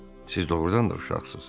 Siz doğrudan da uşaqsınız.